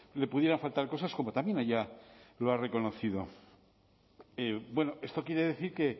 le pudieran faltar cosas como también ella lo ha reconocido esto quiere decir que